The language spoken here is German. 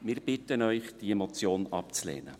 Wir bitten Sie, diese Motion abzulehnen.